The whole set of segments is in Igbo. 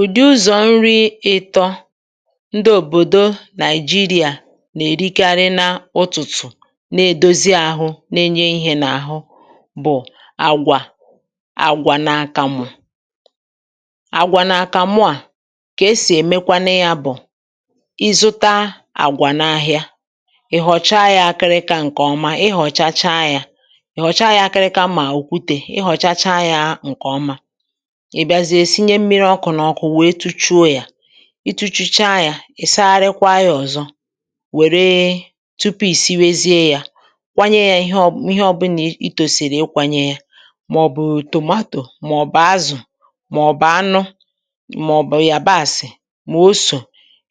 Ụdị ụzọ̀ nri ịtọ ndị òbòdo Nigeria nà-èrikarị n’ụtụ̀tụ̀ na-èdozi ahụ na-enye ihė n’àhụ bụ̀ àgwà, àgwà na akamụ̀. Agwà na akamụ à, kà esì èmekwanụya bụ̀, ị zụta àgwà n’ahìa, ị họ̀chaa yȧ akịrịka ǹkè ọma. Ị họ̀chacha ya ịhọ̀chaa yȧ akịrịka mà òkwute, ị họ̀chacha ya ǹkè ọma, ị bịazie sinye mmiri ọkụ̇ n'ọkụ̇ wee tuchuo ya. I tu̇chuchaa ya, ị sagharikwaa ya ọ̀zọ wèree tupu ì siwezie ya, kwanyė ya ihe ọbụlà i tòsìrì ịkwànye ya màọ̀bù tomato màọ̀bù azụ̀ màọ̀bù anụ màọ̀bù yabàsị̀ màosò.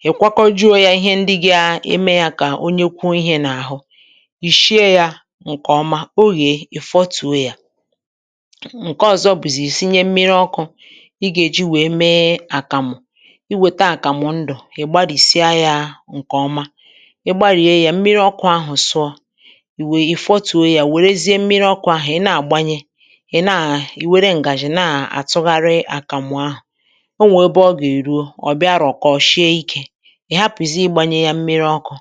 Ị kwakọjuo ya ihe ndị gȧ-eme ya kà o nyekwuo ihė n’àhụ, ị shie ya ǹkèọma, o yeè, ị fọtùo ya. Nke ọ̀zọ bụzì i sinye mmi̇ri ọkụ̇ ị gà-èji wèe mee àkàmụ̀. I wètà àkàmụ̀ ndụ̀, ị̀ gbarìsịa yȧ ǹkè ọma. Ị gbarìe yȧ, mmiri̇ ọkụ̇ ahụ̀ sụọ, ì wèe ì fọtùo yȧ, wèrezie mmiri ọkụ̇ ahụ̀, ị̀ na-àgbanye, i were ǹgàji na-àtụgharị àkàmụ̀ ahụ̀. O nwè ebe ọ gà-èruo, ọ̀ bịa rọ̀kọ̀ọ, shie ikė. Ị hapụ̀zie ịgbȧnye yȧ mmiri ọkụ̇,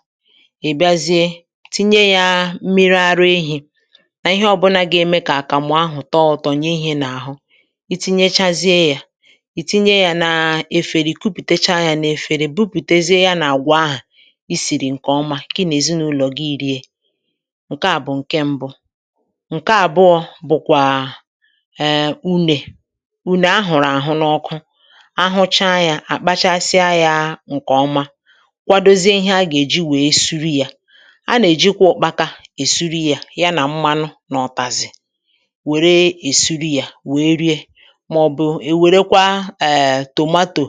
ị bịazie tinye yȧ mmiri ara ehi̇ nà ihe ọbụnȧ gà-eme kà àkàmụ̀ ahụ̀ tọọ ụtọ, ǹye ihe n’àhụ. I tinyèchazie yà, itinye ya nà efere, i kupùtecha yȧ n’efere, i bupùtezie yȧ na àgwụ̀ ahụ̀ isìrì ǹkè ọma kà ị nà èzinàụlọ̀ gị rie. Nkẹ à bụ̀ ǹkẹ mbụ. Nkẹ àbụọ bụ̀kwà um unè. Unè a hụ̀rụ̀ àhụ n’ọkụ, a hụchaa yȧ, à kpachasịa yȧ ǹkẹ̀ ọma, kwadozie ihe a gà èji wèe suru yȧ. A nà èjikwa ọkpaka èsuri yȧ ya nà mmanụ na ọtàzì wère esuri yȧ wèe rie. Maọbụkwa e werekwa tomato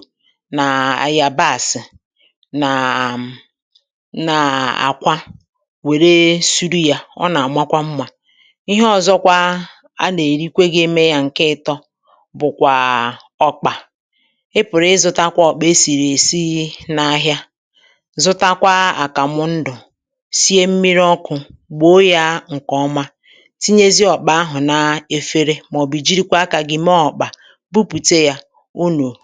nà ayàbàsị nà um nà àkwa, wère suri yȧ, ọ nà-àmakwa mmȧ. Ihe ọ̇zọ̇kwȧ a nà-èrikwe geme yȧ ǹke ịtọ bụ̀kwà ọ̀kpà. Ị pụ̀rụ̀ ịzụ̇tȧkwȧ ọ̀kpà e sìrèsi n’ahịa, zụtakwa àkàmụ̀ ndụ̀, sie mmiri̇ ọkụ̇, gboo yȧ ǹkè ọma, tinyezie ọ̀kpà ahụ̀ na-efere màọ̀bụ̀ jirikwa akȧ gị mee ọ̀kpà, bupute ya unu.